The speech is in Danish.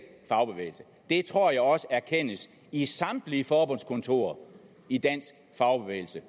fagbevægelse det tror jeg også erkendes i samtlige forbundskontorer i dansk fagbevægelse